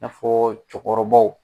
I n'afɔ cɛkɔrɔbaw.